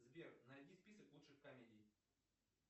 сбер найди список лучших комедий